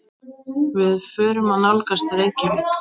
Við förum að nálgast Reykjavík.